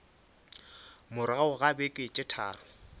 morago ga beke tše tharo